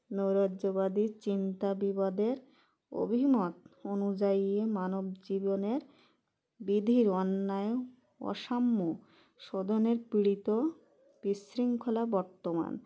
নৈরাজ্যবাদীর চিন্তা বিবাদের অভিমত অনুযায়ী মানব জীবনের বীধির অন্যায় অসাম্য শোধনের পীড়িত বিশৃঙ্খলা বর্তমান